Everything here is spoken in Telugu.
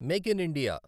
make in India